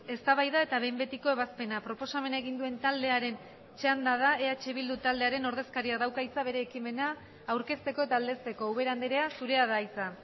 eztabaida eta behin betiko ebazpena proposamena egin duen taldearen txanda da eh bildu taldearen ordezkariak dauka hitza bere ekimena aurkezteko eta aldezteko ubera andrea zurea da hitza